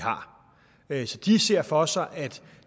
har så de ser for sig at